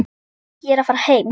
Ég er að fara heim.